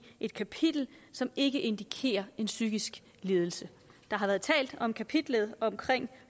et kapitel som ikke indikerer en psykisk lidelse der har været talt om kapitlet